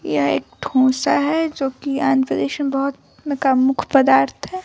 यह एक डोसा है जो कि अंतरिक्ष में बहुत का मुख्य पदार्थ है।